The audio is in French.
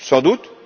Sans doute.